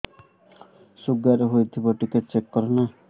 sugar ହେଇଥିବ ଟିକେ check କର ନା